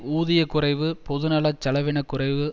ஊதிய குறைவு பொதுநல செலவின குறைவு